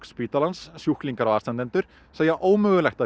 spítalans sjúklingar og aðstandendur segja að ómögulegt